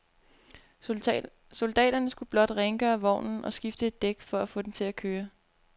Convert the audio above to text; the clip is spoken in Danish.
Soldaterne skulle blot rengøre vognen og skifte et dæk for at få den til at køre.